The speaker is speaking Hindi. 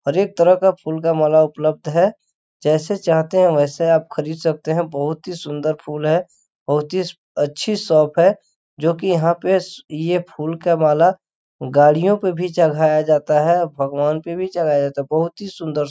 हर एक तरह का फुल का माला उपलब्ध है जैसे चाहते है वैसे आप खरीद सकते है बहुत ही सुंदर फुल है बहुत ही अच्छी शॉप है जोकि जहाँ पे फुल की माला गाडियों पे भी चघाया जाता है भगवान पे भी चड़ाया जाता है बहुत ही सुंदर--